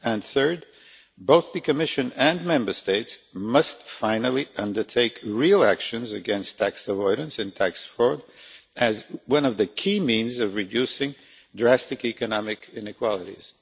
Third, both the Commission and Member States must finally take real action against tax avoidance and tax fraud, as one of the key means of reducing drastic economic inequalities.